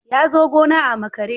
Ya zo gona a makare.